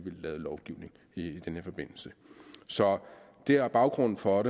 lovgivning i den her forbindelse så det er baggrunden for